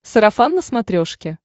сарафан на смотрешке